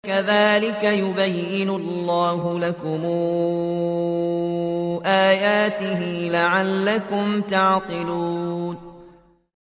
كَذَٰلِكَ يُبَيِّنُ اللَّهُ لَكُمْ آيَاتِهِ لَعَلَّكُمْ تَعْقِلُونَ